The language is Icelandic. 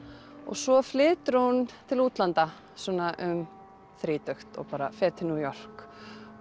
svo flytur hún til útlanda svona um þrítugt og fer til New York